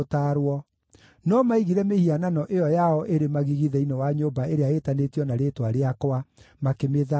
No maigire mĩhianano ĩyo yao ĩrĩ magigi thĩinĩ wa nyũmba ĩrĩa ĩĩtanĩtio na Rĩĩtwa rĩakwa, makĩmĩthaahia.